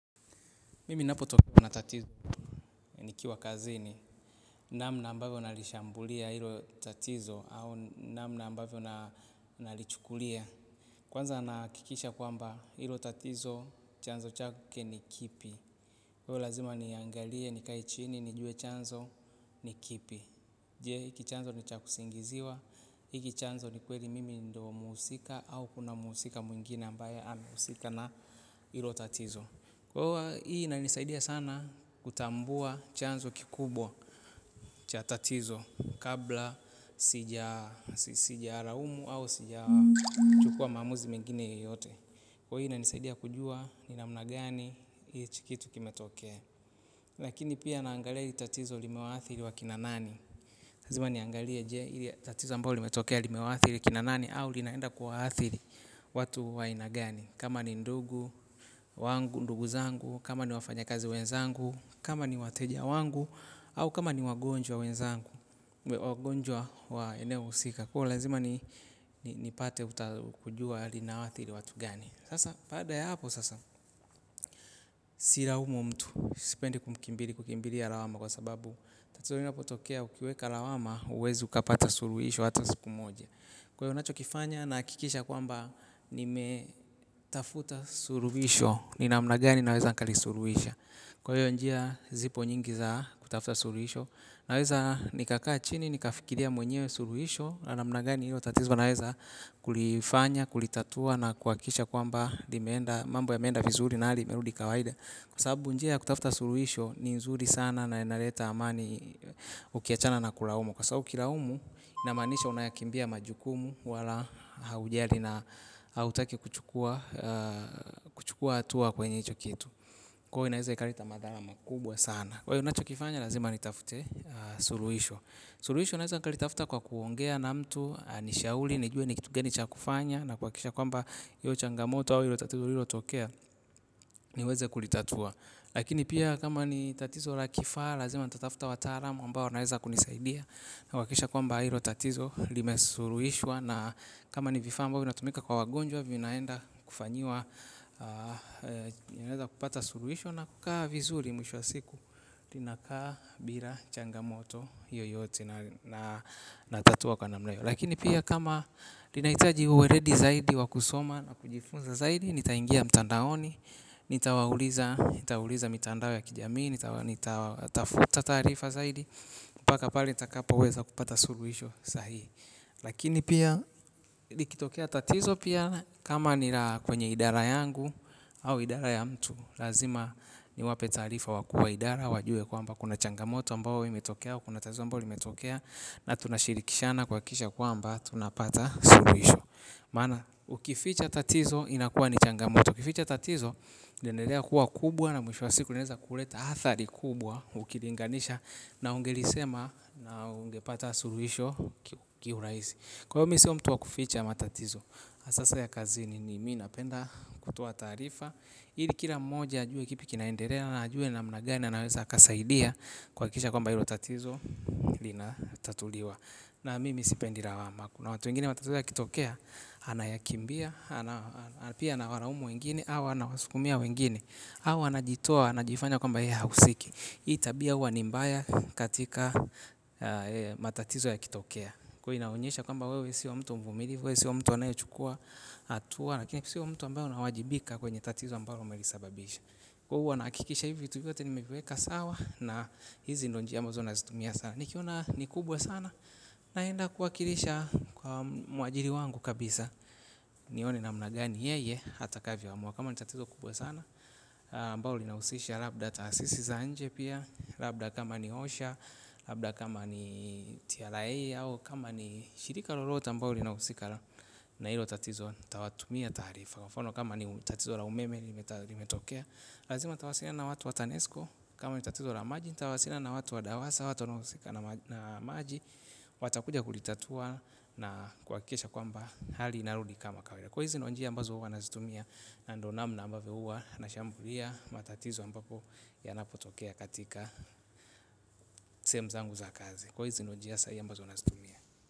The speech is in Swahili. Mimi napotokwa na tatizo nikiwa kazini. Namna ambavyo nalishambulia hilo tatizo au namna ambavyo nalichukulia. Kwanza nahakikisha kwamba hilo tatizo chanzo chake ni kipi. Kwa hiyo lazima niangalie nikae chini nijue chanzo ni kipi je hiki chanzo ni ya kusingiziwa. Hiki chanzo ni kweli mimi ndo mhusika au kuna mhusika mwingine ambaye anahusika na hilo tatizo. Kwa hovo hii inanisaidia sana kutambua chanzo kikubwa cha tatizo kabla sijaraumu au sijachukua maamuzi mengine yoyote. Kwa hii inanisaidia kujua ni namna gani hichi kitu kimetokea. Lakini pia naangalia hii tatizo limewaathiri wa kina nani. Lazima niangalie je hili tatizo ambao limetokea limewaathiri kina nani au linaenda kuwaathiri watu wa aina gani. Kama ni ndugu, wangu ndugu zangu, kama ni wafanyakazi wenzangu, kama ni wateja wangu au kama ni wagonjwa wenzangu, wagonjwa wa eneo husika. Kwa hiyo lazima nipate kujua linawaathiri watu gani. Sasa baada ya hapo sasa silaumu mtu. Sipendi kukimbiri kukimbiria lawama kwa sababu tatizo linapotokea ukiweka lawama huwezi ukapata suruhisho hata siku moja. Kwa hiyo nachokifanya nahakikisha kwamba nimetafuta suruhisho, ni namna gani naweza nkalisuruhisha. Kwa hiyo njia zipo nyingi za kutafuta suruhisho, naweza nikakaa chini, nikafikiria mwenyewe suruhisho, na namna gani hilo tatizo naeza kulifanya, kulitatua na kuhakikisha kwamba mambo yameenda vizuri na hali imerudi kawaida. Kwa sababu njia ya kutafuta suruhisho, ni nzuri sana na inaleta amani ukiachana na kulaumu. Kwa sabu ukilaumu, inamaanisha unayakimbia majukumu wala haujali na hautaki kuchukua hatua kwenye hicho kitu. Kwaio inaeza ikaleta madhara makubwa sana. Kwaio nachokifanya lazima nitafute suluhisho. Suluhisho naeza nikalitafuta kwa kuongea na mtu, anishauri, nijue ni kitu gani cha kufanya, na kuhakikisha kwamba hiyo changamoto au hilo tatizo lililotokea, niweze kulitatua. Lakini pia ni tatizo la kifaa lazima nitatafua wataalam ambao wanaweza kulitatua kuhakikisha kwamba hilo tatizo limesuruhishwa na kama ni vifaa ambavo vinatumika kwa wagonjwa vinaenda kufanyiwa ninaweza kupata suruhisho na kukaa vizuri mwisho wa siku linakaa bila changamoto yoyote na natatua kwa namna hivo. Lakini pia kama linahitaji uweredi zaidi wa kusoma na kujifunza zaidi nitaingia mtandaoni nitawauliza mitandao ya kijamii nitatafuta taarifa zaidi mpaka pale nitakapo lweza kupata suruisho sahihi. Lakini pia likitokea tatizo pia kama ni la kwenye idara yangu au idara ya mtu. Lazima niwape taarifa wa kuwa idara wajue kwamba kuna changamoto ambao imetokea. Kuna tatizo ambalo limetokea na tunashirikishana kuhakikisha kwamba tunapata suruisho. Maana ukificha tatizo inakuwa ni changamoto. Ukificha tatizo itaendelea kuwa kubwa na mwisho wa siku unaeza kuleta athari kubwa. Ukilinganisha na ungelisema na ungepata suruhisho Kiurahisi. Kwa hivyo mi sio mtu wa kuficha matatizo hasasa ya kazini ni mi napenda kutoa taarifa. Ili kila mmoja ajue kipi kinaenderea na ajue namna gani anaweza akasaidia kuhakikisha kwamba hilo tatizo Linatatuliwa. Na mimi sipendi rawama kuna watu wengine matatizo yakitokea. Anayakimbia. Pia nawalaumu wengine awa anawasukumia wengine. Awa anajitoa anajifanya kwamba yehe hahusiki. Hii tabia huwa ni mbaya katika matatizo yakitokea kwa inaonyesha kwamba wewe sio mtu mvumilivu. Wewe sio mtu anayechukua hatua lakini kisiwa mtu ambayo na wajibika kwenye tatizo ambayo umelisababisha huwa nahakikisha hivyo vitu vyote nimeviweka sawa. Na hizi ndo njia ambazo nazitumia sana. Nikiona ni kubwa sana. Naenda kuwakilisha kwa mwajiri wangu kabisa. Nione namna gani yeye atakavyoamua kama ni tatizo kubwa sana ambao linahusisha labda taasisi za nje pia. Labda kama ni osha. Labda kama ni tiarae. Kama ni shirika lolote ambalo linahusika na hilo tatizo nitawatumia taarifa mfano. Kama ni tatizo la umeme. Lazima nitawasiliana na watu wa tanesko. Kama ni tatizo la maji nitawasiliana na watu wa dawasa au watu wanaohusika na maji watakuja kulitatua na kuhakikisha kwamba hali inarudi kama kawaida kwaio hizi ndizo njia ambazo huwa nazitumia na ndio namna ambavyo huwa nashambulia matatizo ambapo yanapotokea katika sehemu zangu za kazi kwaio hizo ndio njia sahihi ambazo nazitumia.